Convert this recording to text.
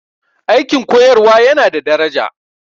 Aikin koyarwa yana da daraja